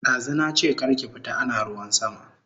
Dazu nache kar ki fita ana ruwan sama